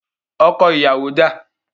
Ọkọ̀ ìyàwó dà?